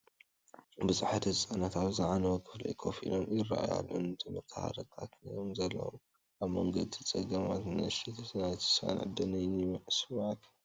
ብዙሓት ህጻናት ኣብ ዝዓነወ ክፍሊ ኮፍ ኢሎም ይራኣዩ ኣለው፡ ንትምህርቲ ሃረርታ ከምዘለዎም ፤ ኣብ መንጎ እቲ ጸገማት፡ ንእሽተይ ናይ ተስፋን ዕድልን ይስመዓካ።